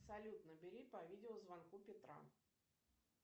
салют набери по видеозвонку петра